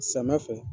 Samiya fɛ